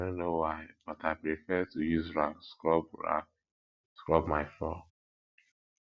i no know why but i prefer to use rag scrub rag scrub my floor